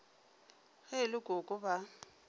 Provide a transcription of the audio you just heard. ge e le koko ba